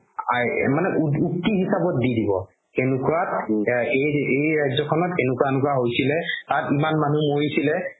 মানে উক্তি হিচাপত দি দিব কেনেকুৱা এই ৰাজ্যখনত এনেকুৱা এনেকুৱা হৈছিলে তাত ইমান নানুহ মৰিছিলে